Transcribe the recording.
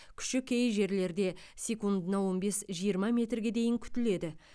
күші кей жерлерде секундына он бес жиырма метрге дейін күтіледі